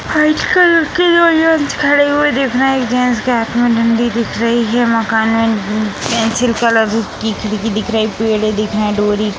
आज कल के लोग खड़े हुए दिख रहे है एक जेंट्स के हाथ में डंडी दिख रही है | मकान में उम् पेंसिल कलर की खिड़की दिख रही है | पेड़ दिख रहे हैं | ढोरी --